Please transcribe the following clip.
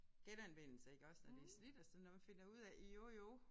Genanvendelse iggås og det slidt og sådan noget finder ud af jo jo